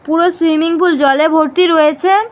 পুরো swimming pool জলে ভর্তি রয়েছে।